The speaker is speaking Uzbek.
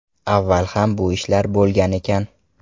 Avval ham bu ishlar bo‘lgan ekan.